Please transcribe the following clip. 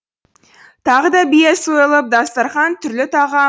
тағы да бие сойылып дастарқан түрлі тағам